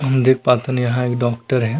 हम देख पाथन यहाँ एक डॉक्टर हे।